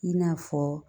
I n'a fɔ